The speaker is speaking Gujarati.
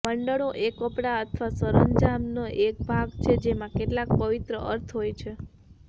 મંડળો એ કપડા અથવા સરંજામનો એક ભાગ છે જેમાં કેટલાક પવિત્ર અર્થ હોય છે